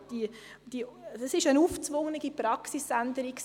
Das war eine aufgezwungene Praxisänderung.